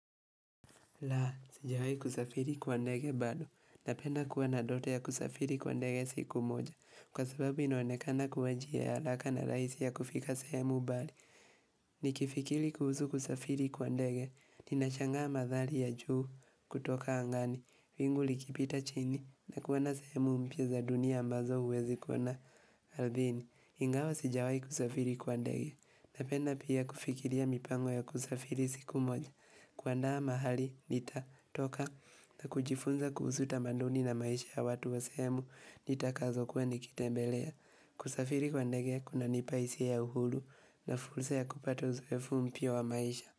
La, sijawahi kusafiri kwa ndege bado. Napenda kuwa na ndoto ya kusafiri kwa ndege siku moja. Kwa sababu inoanekana kuwa njia ya haraka na rahisi ya kufika sehemu mbali. Nikifikiri kuhusu kusafiri kwa ndege. Ninashangaa madhari ya juu kutoka angani. Wingu likipita chini. Na kuenda sehemu mpya za dunia ambazo huwezi kuona ardhini. Ingawa sijawahi kusafiri kwa ndege. Napenda pia kufikiria mipango ya kusafiri siku moja. Kuandaa mahali, nitatoka, na kujifunza kuhusu tamaduni na maisha ya watu wa sehemu, nitakazokuwa nikitembelea. Kusafiri kwa ndege, kunanipa hisia ya uhuru, na fursa ya kupata uzoefu mpya wa maisha.